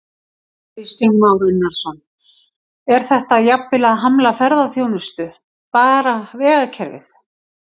Kristján Már Unnarsson: Er þetta jafnvel að hamla ferðaþjónustu, bara vegakerfið?